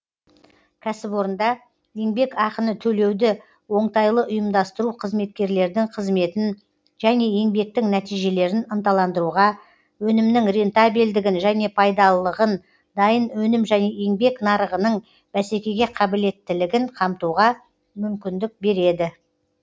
кәсіпорында еңбекақыны төлеуді оңтайлы ұйымдастыру қызметкерлердің қызметін және еңбектің нәтижелерін ынталандыруға өнімнің рентабельділігін және пайдалылығын дайын өнім және еңбек нарығының бәсекеге қаблеттілігін қамтуға мүмкіндік береді